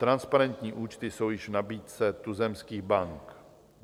Transparentní účty jsou již v nabídce tuzemských bank.